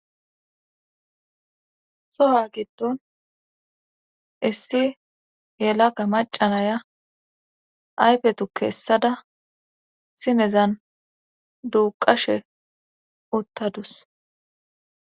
soha giddon issi yelaka macanaya ayfe tuke essada sinezan duuqashe uttadus